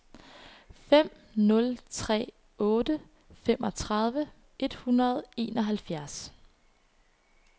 fem nul tre otte femogtredive et hundrede og enoghalvfjerds